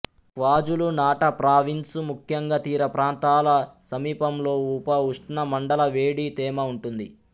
KwaZulu Natal province ముఖ్యంగా తీరప్రాంతాల సమీపంలో ఉపఉష్ణమండల వేడి తేమ ఉంటుంది